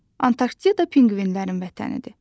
Antarktida pinqvinlərin vətənidir.